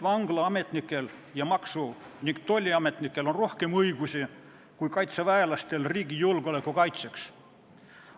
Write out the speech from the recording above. Vanglaametnikel ning maksu- ja tolliametnikel on riigi julgeoleku kaitsmisel ilmselt rohkem õigusi kui kaitseväelastel.